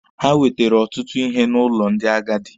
Ha wetere ọtụtụ ihe n'ụlọ ndị agadi.